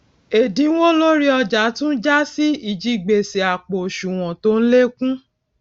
èdínwó lórí ọjà tún jásí ìjigbèsè àpò òṣùwòn tó n lékún